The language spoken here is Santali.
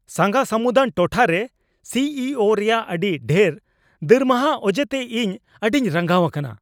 ᱥᱟᱸᱜᱷᱟ ᱥᱟᱹᱢᱩᱫᱟᱱ ᱴᱚᱴᱷᱟᱨᱮ ᱥᱤ ᱤ ᱳᱼᱨᱮᱭᱟᱜ ᱟᱹᱰᱤ ᱰᱷᱮᱨ ᱫᱟᱨᱢᱟᱦᱟ ᱚᱡᱮᱛᱮ ᱤᱧ ᱟᱹᱰᱤᱧ ᱨᱟᱸᱜᱟᱣ ᱟᱠᱟᱱᱟ ᱾